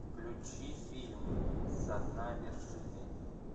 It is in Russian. включи фильм со дна вершины